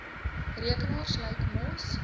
rekenaars lyk mos